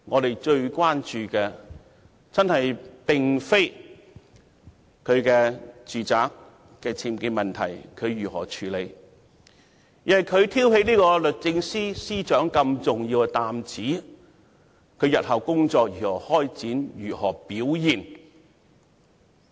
市民最關注的並非她如何處理其住宅僭建問題，而是她挑起律政司司長這重要擔子，她日後的工作如何開展、如何表現。